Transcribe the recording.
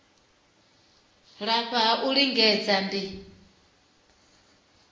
lafha ha u lingedza ndi